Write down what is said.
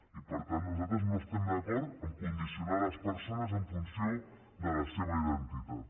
i per tant nosaltres no estem d’acord a condicionar les persones en funció de la seva identitat